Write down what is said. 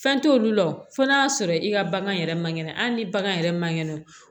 Fɛn t'olu la o fɔ n'a y'a sɔrɔ i ka bagan yɛrɛ man kɛnɛ hali ni bagan yɛrɛ ma nɛnɛ